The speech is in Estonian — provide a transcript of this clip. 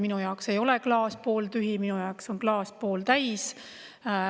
Minu jaoks ei ole klaas pooltühi, minu jaoks on klaas pooltäis.